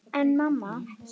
En mamma!